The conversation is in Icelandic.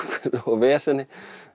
veseni